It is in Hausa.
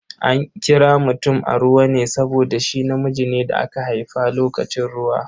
An kira mutum Aruwa ne saboda shi namiji ne da aka haifa lokacin ruwa.